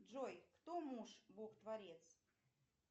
джой кто муж бог творец